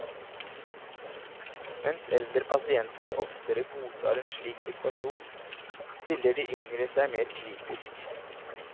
Mens eldre pasienter oftere godtar en slik situasjon, stiller de yngre seg mer kritisk.